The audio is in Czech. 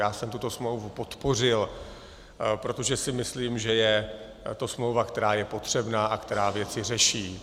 Já jsem tuto smlouvu podpořil, protože si myslím, že je to smlouva, která je potřebná a která věci řeší.